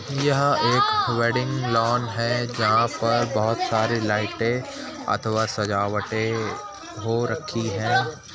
यह एक wedding lawn है जहां पर बहोत सारी लाइटें अथवा सजावटें हो रखी हैं।